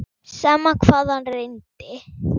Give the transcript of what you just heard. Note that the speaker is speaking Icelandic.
Sama hvað hann reyndi.